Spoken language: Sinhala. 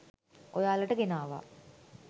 ඔයාලට ගෙනාවා.